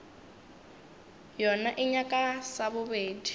yona e nyaka sa bobedi